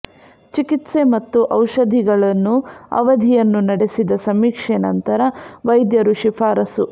ಚಿಕಿತ್ಸೆ ಮತ್ತು ಔಷಧಿಗಳನ್ನು ಅವಧಿಯನ್ನು ನಡೆಸಿದ ಸಮೀಕ್ಷೆ ನಂತರ ವೈದ್ಯರು ಶಿಫಾರಸು